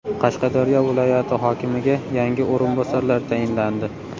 Qashqadaryo viloyati hokimiga yangi o‘rinbosarlar tayinlandi.